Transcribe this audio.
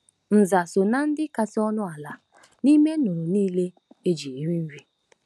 Nza so ná ndị kasị ọnụ ala n'ime nnụnụ nile e ji eri nri.